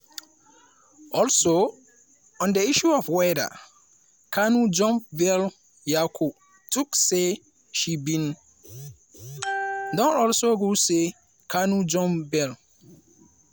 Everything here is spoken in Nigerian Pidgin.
also on di issue of whether kanu jump bail nyako tok say she bin don also rule say kanu jump bail.